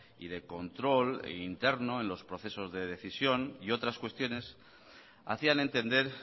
y de control interno en los procesos de decisión y otras cuestiones hacían entender